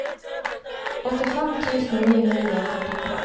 åttifem tusen ni hundre og førtitre